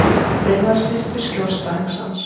Ein var systir skjólstæðings hans.